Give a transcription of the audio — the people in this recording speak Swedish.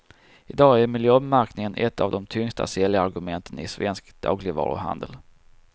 I dag är miljömärkningen ett av de tyngsta säljargumenten i svensk dagligvaruhandel.